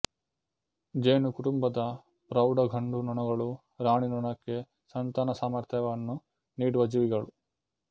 ಜೇನುಕುಟುಂಬದ ಪ್ರೌಢ ಗಂಡು ನೊಣಗಳು ರಾಣಿನೊಣಕ್ಕೆ ಸಂತಾನ ಸಾಮರ್ಥ್ಯವನ್ನು ನೀಡುವ ಜೀವಿಗಳು